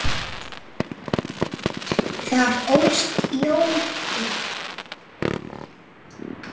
Þar ólst Jón upp.